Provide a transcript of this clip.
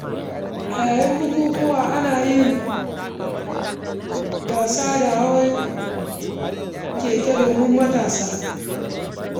A yayin bukukuwa, ana yin gasa ta hawan keke domin matasa.